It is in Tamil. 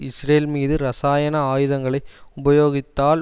இஸ்ரேல் மீது இரசாயன ஆயுதங்களை உபயோகித்தால்